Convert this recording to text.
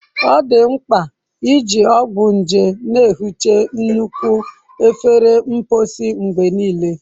Ọ dị mkpa iji ọgwụ nje na-ehicha nnukwu efere mposi mgbe niile.